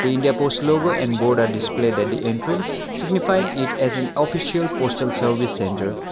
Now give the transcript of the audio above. the india post logo and board are displayed at the entrance signifying it as an official postal service centre.